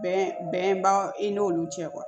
Bɛn bɛnba i n'olu cɛ